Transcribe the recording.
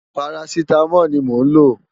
Párásitámól ni mó n ló